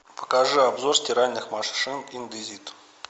покажи обзор стиральных машин индезит